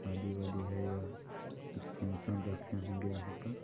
शादी वादी है या कुछ फंगक्शन रखे होंगे यहाँ पर--